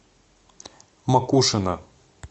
макушино